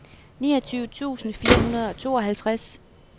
niogtyve tusind fire hundrede og tooghalvtreds